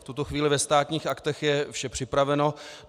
V tuto chvíli ve Státních aktech je vše připraveno.